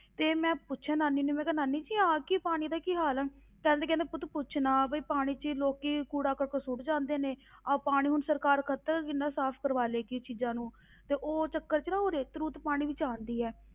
ਤੇ ਮੈਂ ਪੁੱਛਿਆ ਨਾਨੀ ਨੂੰ ਮੈਂ ਕਿਹਾ ਨਾਨੀ ਜੀ ਆਹ ਕੀ ਪਾਣੀ ਦਾ ਕੀ ਹਾਲ ਹੈ, ਕਹਿੰਦੇ ਕਹਿੰਦੇ ਪੁੱਤ ਪੁੱਛ ਨਾ ਵੀ ਪਾਣੀ ਵਿੱਚ ਲੋਕੀ ਕੂੜਾ ਕਰਕਟ ਸੁੱਟ ਜਾਂਦੇ ਨੇ ਆਹ ਪਾਣੀ ਹੁਣ ਸਰਕਾਰ ਕਦ ਤੱਕ ਕਿੰਨਾ ਸਾਫ਼ ਕਰਵਾ ਲਏਗੀ ਚੀਜ਼ਾਂ ਨੂੰ ਤੇ ਉਹ ਚੱਕਰ ਵਿੱਚ ਨਾ ਉਹ ਰੇਤ ਰੂਤ ਪਾਣੀ ਵਿੱਚ ਆਉਂਦੀ ਹੈ,